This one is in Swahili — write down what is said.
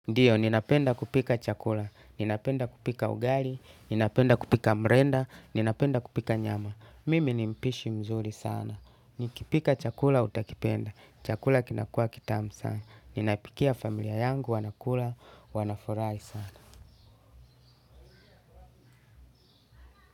Ndiyo, ninapenda kupika chakula, ninapenda kupika ugali, ninapenda kupika mrenda, ninapenda kupika nyama. Mimi ni mpishi mzuri sana. Nikipika chakula utakipenda, chakula kinakuwa kitamu sana. Ninapikia familia yangu, wanakula, wanafurahi sana.